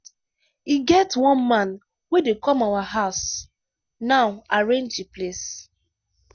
e get one man wey dey come our house now arrange the place.